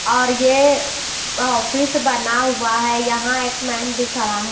और ये ऑफिस बना हुआ है यहां एक मैन भी खड़ा है--